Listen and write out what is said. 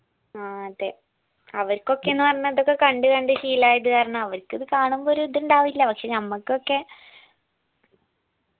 ആ അതെ അവർക്കൊക്കെ ന്ന് പറഞ്ഞാ ഇതൊക്കെ കണ്ട് കണ്ട് ശീലായത് കാരണം അവരിക്കിത് കാണുമ്പോ ഒരു ഇത് ഇണ്ടാവില്ല പക്ഷെ ഞമ്മക്കൊക്കെ